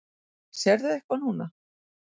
Sérðu eitthvað núna?